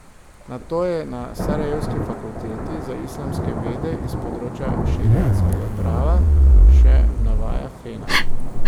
Nato je na sarajevski fakulteti za islamske vede iz področja šeriatskega prava, še navaja Fena.